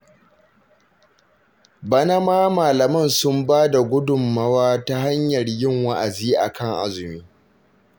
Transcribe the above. Bana ma malaman sun ba da gudunmawa ta hanyar yin wa'azi a kan azumi